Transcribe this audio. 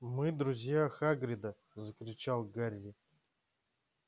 мы друзья хагрида закричал гарри